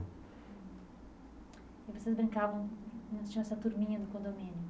E vocês brincavam já tinha essa turminha no condomínio?